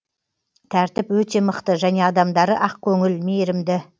тәртіп өте мықты және адамдары ақкөңіл мейірімді